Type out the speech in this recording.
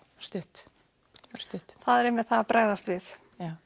það er einmitt það að bregðast við